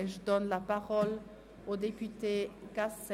Das Wort hat Motionär Gasser.